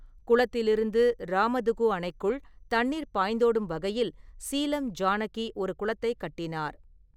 குளத்திலிருந்து ராமதுகு அணைக்குள் தண்ணீர் பாய்ந்தோடும் வகையில் சீலம் ஜானகி ஒரு குளத்தைக் கட்டினார்.